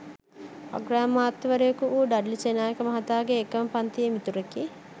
අග්‍රාමාත්‍යවරයෙකුවූ ඩඞ්ලි සේනානායක මහතාගේ එකම පන්තියේ මිතුරෙකි